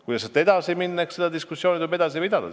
Kuidas sealt edasi minna, eks selle üle tuleb diskussiooni pidada.